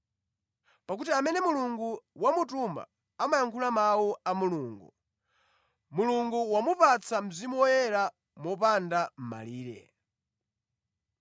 Pakuti amene Mulungu wamutuma amayankhula mawu a Mulungu; Mulungu wamupatsa Mzimu Woyera mopanda malire.